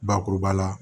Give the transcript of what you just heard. Bakuruba la